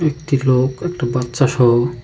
একটি লোক একটি বাচ্চা সহ।